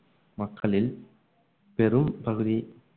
மக்களில் பெரும் பகுதி